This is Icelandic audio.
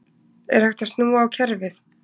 Er hægt að snúa á kerfið?